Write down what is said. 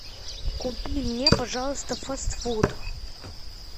купи мне пожалуйста фастфуд